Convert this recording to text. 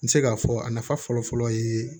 N bɛ se k'a fɔ a nafa fɔlɔfɔlɔ ye